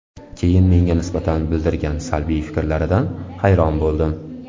Keyin menga nisbatan bildirgan salbiy fikrlaridan hayron bo‘ldim.